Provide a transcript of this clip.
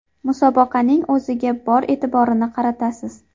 Musobaqaning o‘ziga bor e’tiborni qaratasiz.